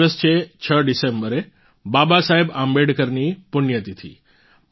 આ દિવસ છે 6 ડિસેમ્બરે બાબા સાહેબ આંબેડકરની પુણ્યતિથિ